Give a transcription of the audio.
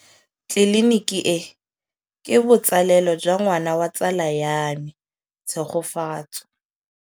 Tleliniki e, ke botsalêlô jwa ngwana wa tsala ya me Tshegofatso.